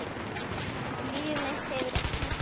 Líf mitt hefur kennt mér.